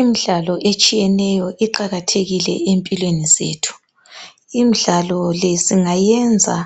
imidlalo etshiyeneyo iqakathekile ezimpilweni zethu imidlalo le singayiyenza